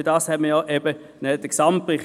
Dafür hat man jeweils den Gesamtbericht.